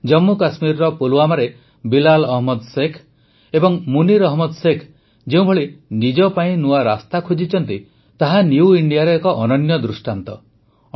ଜମ୍ମୁ କଶ୍ମୀରର ପୁଲୱାମାରେ ବିଲାଲ ଅହମଦ ଶେଖ ଓ ମୁନୀର ଅହମଦ ଶେଖ ଯେଉଁଭଳି ନିଜ ପାଇଁ ନୂଆ ରାସ୍ତା ଖୋଜିଛନ୍ତି ତାହା ନିଉ ଇଣ୍ଡିଆର ଏକ ଅନନ୍ୟ ଦୃଷ୍ଟାନ୍ତ